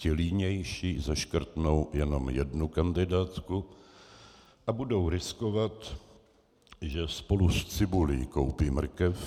Ti línější zaškrtnou jenom jednu kandidátku a budou riskovat, že spolu s cibulí koupí mrkev.